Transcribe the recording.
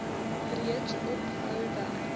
reeds ophou werk